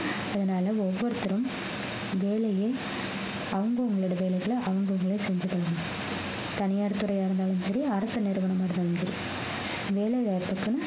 அதனால ஒவ்வொருத்தரும் வேலையை அவங்கவங்களோட வேலைகளை அவங்கவங்களே செஞ்சுக்ககோங்க தனியார் துறையா இருந்தாலும் சரி அரசு நிறுவனமா இருந்தாலும் சரி வேலைவாய்ப்புக்கும்